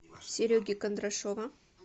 сереги кондрашова